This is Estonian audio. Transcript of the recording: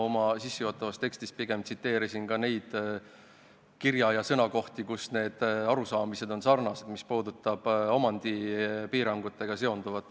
Oma sissejuhatavas tekstis ma pigem tsiteerisin neid kirjakohti, milles meie arusaamad on omandipiirangutega seonduva osas sarnased.